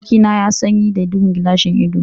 Abokina ya sanye da duhun gilashin ido.